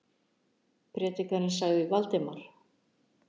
Prédikarinn sagði Valdimar.